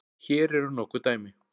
Hér eru nokkur dæmi